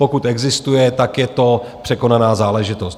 Pokud existuje, tak je to překonaná záležitost.